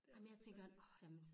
Ej men jeg tænker nej men så